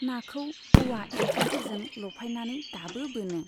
नाखौ औवा एम्फौफोरजों लफायनानै दाबो बोनो।